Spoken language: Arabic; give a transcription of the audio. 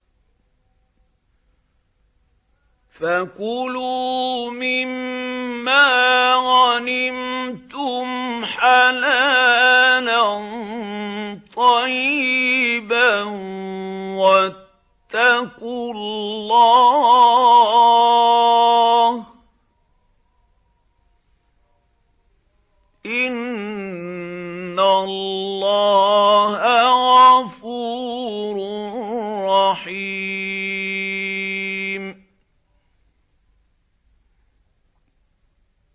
فَكُلُوا مِمَّا غَنِمْتُمْ حَلَالًا طَيِّبًا ۚ وَاتَّقُوا اللَّهَ ۚ إِنَّ اللَّهَ غَفُورٌ رَّحِيمٌ